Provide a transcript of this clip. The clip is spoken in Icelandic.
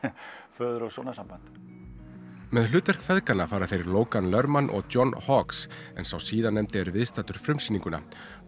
föður og sonar samband með hlutverk feðganna fara þeir Logan Lerman og John en sá síðarnefndi er viðstaddur frumsýninguna